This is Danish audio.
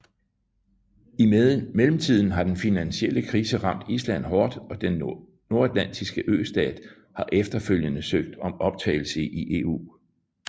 I mellemtiden har den finansielle krise ramt Island hårdt og den nordatlantiske østat har efterfølgende søgt om optagelse i EU